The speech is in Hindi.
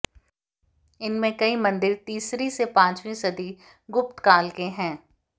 इनमें कई मन्दिर तीसरी से पाँचवीं सदी गुप्तकाल के हैं